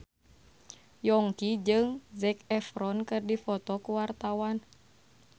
Yongki jeung Zac Efron keur dipoto ku wartawan